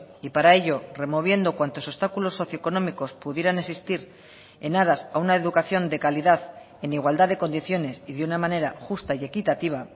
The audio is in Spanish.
y para ello removiendo cuantos obstáculos socioeconómicos pudieran existir en aras a una educación de calidad en igualdad de condiciones y de una manera justa y equitativa